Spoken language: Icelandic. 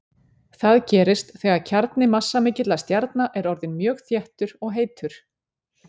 Það gerist þegar kjarni massamikilla stjarna er orðinn mjög þéttur og heitur.